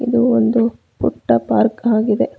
ಇದು ಒಂದು ಪುಟ್ಟ ಪಾರ್ಕ್ ಆಗಿದೆ.